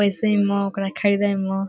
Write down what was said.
ऐसे मो उकेरा खाईबे मो।